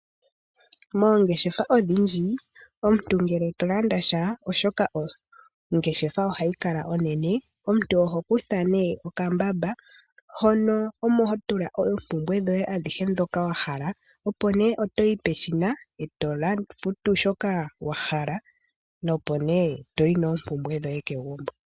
Moongeshefa odhindji omuntu ngele tolanda sha oshoka ongeshefa ohadhi kala onene omuntu oho kutha ne okambamba moka omuntu omo hotula oompumbwe dhoye adhihe dhoka wahala opo ne otoyi peshina eto futu shoka wahala opo ne toyi nompumbwe dhoye kegumbo.